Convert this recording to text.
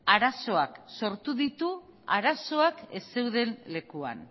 arazoak sortu ditu arazoak ez zeuden lekuan